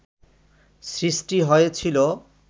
সৃষ্টি হয়েছিল